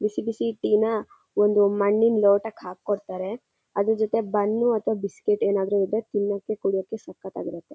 ಬಿಸಿ ಬಿಸಿ ಟೀ ನ ಒಂದು ಮಣ್ಣಿನ ಲೋಟಕ್ಕೆ ಹಾಕಿ ಕೊಡತಾರೆ. ಅದ್ರ ಜೊತೆ ಬನ್ ಅಥವಾ ಬಿಸ್ಕಿತ್ತ್ ಏನಾದ್ರು ಇದ್ರೆ ತಿನ್ನೋಕೆ ಕುಡಿಯೋಕೆ ಸಕ್ಕತ್ ಆಗಿ ಇರುತ್ತೆ.